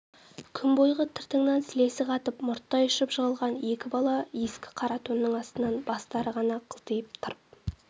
күн бойғы тыртаңнан сілесі қатып мұрттай ұшып жығылған екі бала ескі қара тонның астынан бастары ғана қылтиып тырп